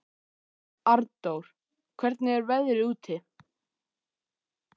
Arndór, hvernig er veðrið úti?